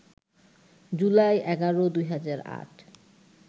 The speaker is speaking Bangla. জুলাই ১১, ২০০৮